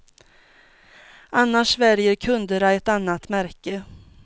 Annars väljer kunderna ett annat märke.